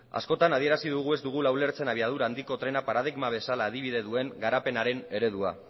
askotan adierazi dugu ez dugula ulertzen abiadura handiko trena paradigma bezala adibide duen garapenaren eredua